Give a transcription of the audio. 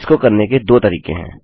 इसको करने के 2 तरीके हैं